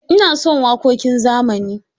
Ina son waƙoƙin zamani.